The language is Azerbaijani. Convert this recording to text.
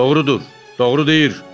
Doğrudur, doğru deyir.